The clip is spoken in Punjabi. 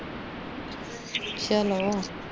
ਚਲੋ